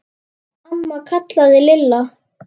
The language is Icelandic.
Amma kallaði Lilla.